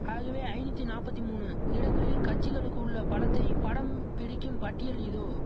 ஆகவே ஐநூத்தி நாப்பத்தி மூனு இடங்களில் கட்சிகளுக்கு உள்ள பலத்தை படம் பிடிக்கும் பட்டியல் இதோ